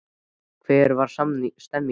hvernig var stemningin?